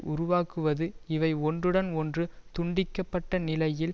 உருவாக்குவது இவை ஒன்றுடன் ஒன்று துண்டிக்கப்பட்ட நிலையில்